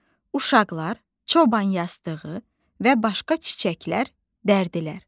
Uşaqlar çoban yastığı və başqa çiçəklər dərdilər.